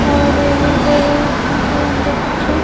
और यहां पर इनको अंदर कुछ--